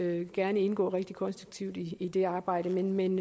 gerne indgå rigtig konstruktivt i det arbejde men